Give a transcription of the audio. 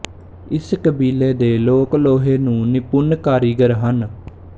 ਇਸ ਕਬੀਲੇ ਦੇ ਲੋਕ ਲੋਹੇ ਦੇ ਨਿਪੁੰਨ ਕਾਰੀਗਰ ਹਨ